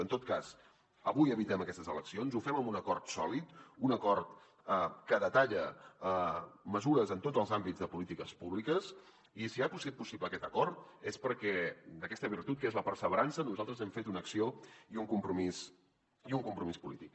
en tot cas avui evitem aquestes eleccions ho fem amb un acord sòlid un acord que detalla mesures en tots els àmbits de polítiques públiques i si ha sigut possible aquest acord és perquè d’aquesta virtut que és la perseverança nosaltres n’hem fet una acció i un compromís polític